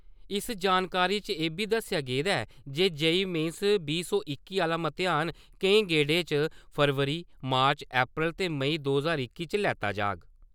इस जानकारी च इब्बी दस्सेआ गेदा ऐ जे जे.ई. मेन बीह् सौ इक्की आह्ला मतेयान केईं गेडें च फरवरी, मार्च, अप्रैल ते मेई दो ज्हार इक्की च लैत्ता जाह्ग